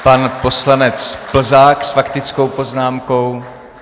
Pan poslanec Plzák s faktickou poznámkou.